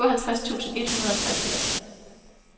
syvoghalvtreds tusind et hundrede og treogfirs